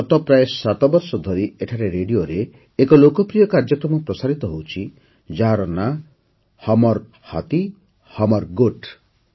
ଗତ ପ୍ରାୟ ୭ ବର୍ଷ ଧରି ଏଠାରେ ରେଡିଓରେ ଏକ ଲୋକପ୍ରିୟ କାର୍ଯ୍ୟକ୍ରମ ପ୍ରସାରିତ ହେଉଛି ଯାହାର ନାମ ହମର୍ ହାଥୀ ହମର୍ ଗୋଠ୍